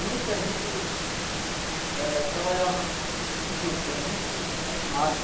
Muita gente eh trabalhava em juta, era muito animado.